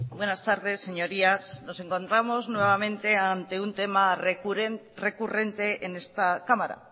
buenas tardes señorías nos encontramos nuevamente ante un tema recurrente en esta cámara